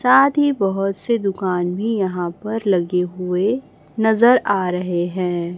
साथ ही बहोत से दुकान भी यहां पर लगे हुए नजर आ रहे हैं।